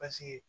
Paseke